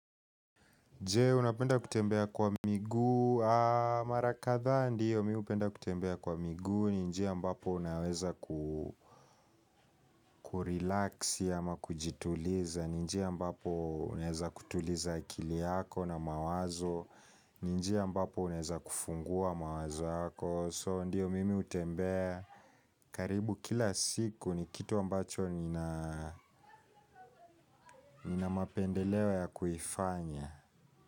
Je, unapenda kutembea kwa miguu, marakadha ndiyo, mimi hupenda kutembea kwa miguu, ninjia ambapo unaweza kurelax ama kujituliza, ninjia ambapo uneza kutuliza akili yako na mawazo, ninjia ambapo uneza kufungua mawazo yako, so ndiyo mimi hutembea, karibu kila siku ni kitu ambacho nina mapendelewa ya kuifanya.